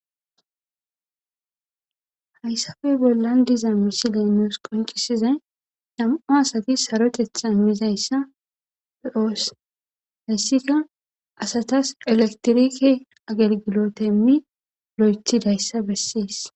Hayssafe bollan diza misile nues qoncisiza nam'o asati sarotetha mizayssa pe'oos hessika asatas elektirike agelgilotemmi lo7ethidayssa bessees.